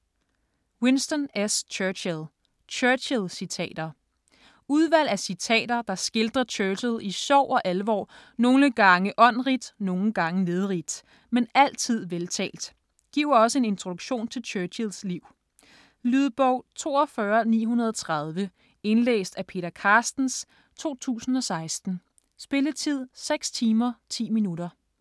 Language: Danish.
Churchill, Winston S.: Churchill citater Udvalg af citater, der skildrer Churchill i sjov og alvor, nogle gange åndrigt, nogle gange nedrigt, men altid veltalt. Giver også en introduktion til Churchills liv. Lydbog 42930 Indlæst af Peter Carstens, 2016. Spilletid: 6 timer, 10 minutter.